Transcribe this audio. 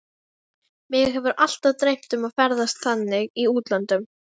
Mig hefur alltaf dreymt um að ferðast þannig í útlöndum.